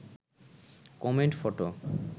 comment photo